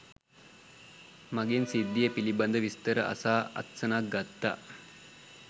මගෙන් සිද්ධිය පිළිබඳව විස්තර අසා අත්සනක් ගත්තා